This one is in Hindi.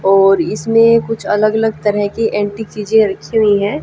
और इसमें कुछ अलग अलग तरह के एंटीक चीजें रखी हुई है।